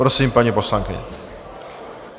Prosím, paní poslankyně.